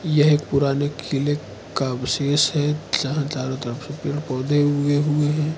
यह एक पुराने किले का अवसेष है जहां चारों तरफ पेड पौधे उगे हुए हैं।